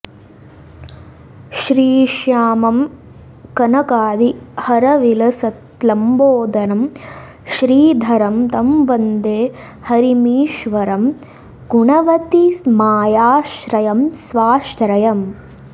श्रीश्यामं कनकादिहारविलसत्लम्बोदरं श्रीधरं तं वन्दे हरिमीश्वरं गुणवतीमायाश्रयं स्वाश्रयम्